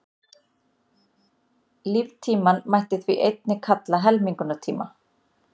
Líftímann mætti því einnig kalla helmingunartíma.